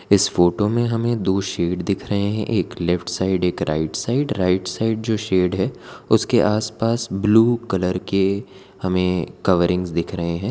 इस फोटो में हमें दो शेड दिख रहे हैं एक लेफ्ट साइड एक राइट साइड राइट साइड जो शेड है उसके आसपास ब्लू कलर के हमें कवरिंग दिख रहे हैं।